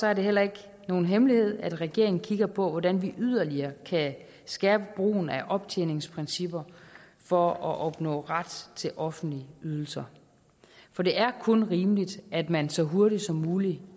er det heller ikke nogen hemmelighed at regeringen kigger på hvordan vi yderligere kan skærpe brugen af optjeningsprincipper for at opnå ret til offentlige ydelser for det er kun rimeligt at man så hurtigt som muligt